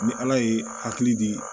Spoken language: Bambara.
Ni ala ye hakili di